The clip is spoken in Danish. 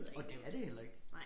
Og det er det heller ikke